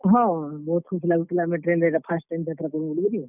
ହଁ, ବହୁତ୍ ଖୁସ୍ ଲାଗୁଥିଲା ମୁଇଁ train ରେ ଇଟା first time ଯାତ୍ରା କର୍ ମି ବଲିକରି।